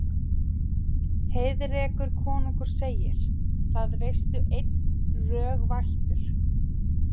Heiðrekur konungur segir: Það veistu einn, rög vættur